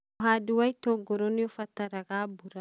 ũhandi wa itũngũrũ nĩ ũbataraga mbura